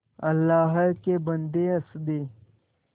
अल्लाह के बन्दे हंस दे